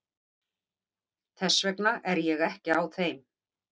Þess vegna er ég ekki á þeim.